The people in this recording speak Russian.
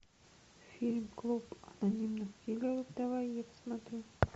фильм клуб анонимных киллеров давай я посмотрю